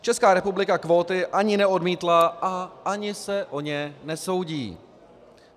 Česká republika kvóty ani neodmítla a ani se o ně nesoudí.